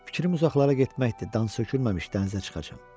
Fikrim uzaqlara getməkdir, dan sökülməmiş dənizə çıxacam.